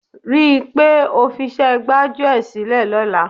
Rí i pé o fiṣẹ́ gbájúẹ̀ sílẹ̀ lọ́la.